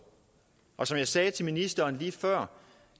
og som jeg sagde til ministeren lige før